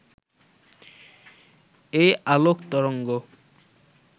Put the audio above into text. এই আলোক তরঙ্গ